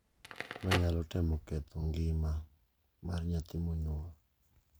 Manyalo temo ketho ngima mar nyathi monyuol,